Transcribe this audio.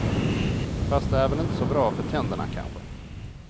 Fast det är väl inte så bra för tänderna kanske.